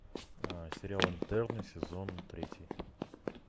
сериал интерны сезон третий